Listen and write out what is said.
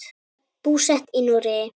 Búsett í Noregi.